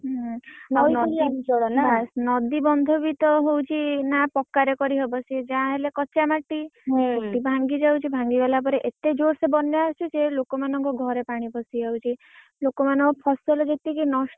ହୁଁ ଆଉ ତୁ ଜାଣିଛୁ ନଦୀ ବନ୍ଧ ବି ତ ହଉଛି ନା ପକ୍କା ରେ କରିହବ। ସିଏ ଯାହା ହେଲେ କଚ୍ଚା ମାଟି। ସେଠି ଭାଙ୍ଗି ଯାଉଛି ଭାଙ୍ଗି ଗଲାପରେ ଏତେ ଜୋରସେ ବନ୍ୟା ଆସୁଛି ଯେ ଲୋକମାନଙ୍କ ଘରେ ପାଣି ପଶିଯାଉଛି। ଲୋକମାନଙ୍କ ଫସଲ ଯେତିକି,